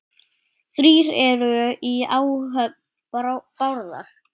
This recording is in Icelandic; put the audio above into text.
Þrír eru í áhöfn Bárðar.